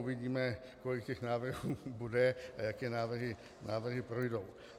Uvidíme, kolik těch návrhů bude a jaké návrhy projdou.